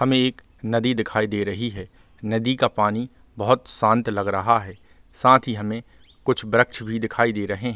हमें एक नदी दिखाई दे रही है नदी का पानी बहुत शांत लग रहा हैं साथ ही हमे कुछ वृक्ष भी दिखाई दे रहे हैं ।